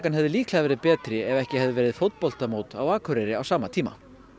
hefði líklega verið betri ef ekki hefði verið fótboltamót á Akureyri á sama tíma